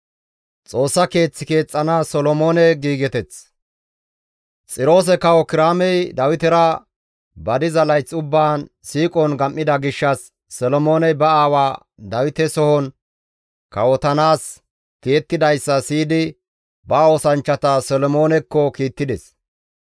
Xiroose Kawo Kiraamey Dawitera ba diza layth ubbaan siiqon gam7ida gishshas Solomooney ba aawa Dawite sohon kawotanaas tiyettidayssa siyidi ba oosanchchata Solomoonekko kiittides.